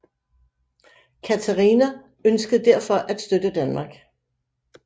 Katharina ønskede derfor at støtte Danmark